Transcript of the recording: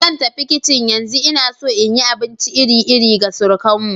Zan tafi kicin yanzu, ina so in yi abinci iri-iri ga surukanmu.